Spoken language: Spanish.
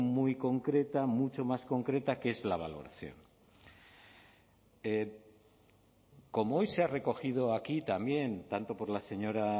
muy concreta mucho más concreta que es la valoración como hoy se ha recogido aquí también tanto por la señora